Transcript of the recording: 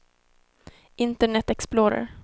internet explorer